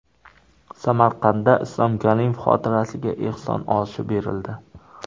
Samarqandda Islom Karimov xotirasiga ehson oshi berildi.